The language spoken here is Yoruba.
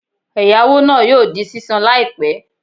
Ẹ̀yáwó náà yóò di sísan láìpẹ́